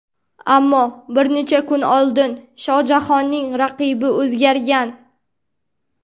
Ammo bir necha kun oldin Shohjahonning raqibi o‘zgargan.